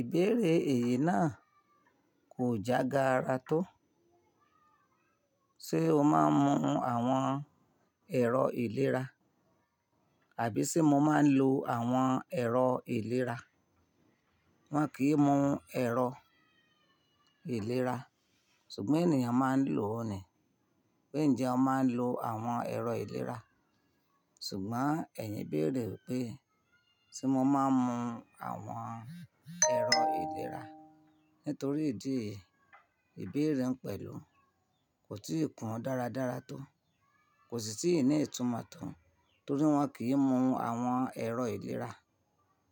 Ìbéèrè èyí náà kò jágara tó. Ṣé o máa ń mu àwọn ẹ̀rọ ìlera, àbí ṣe mo máa ń lo àwọn ẹ̀rọ ìlera? Wọn kì í mu ẹ̀rọ ìlera, ṣùgbọ́n ènìyàn máa ń lò ó ni. Pe ǹ jẹ́ o máa ń lo àwọn ẹ̀rọ ìlera, ṣùgbọ́n ẹ̀yin béèrè wípé ṣe mo máa ń mu àwọn ẹ̀rọ ìlera. Nítorí ìdí èyí, ìbéèrè ń pẹ̀lú kò tíì kún dáradára tó, kò sì tíì ní ìtumọ̀ tòó torí wọn kì í mu àwọn ẹ̀rọ ìlera,